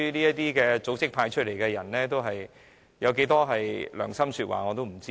這些組織派出的人選會說多少良心說話，我不知道。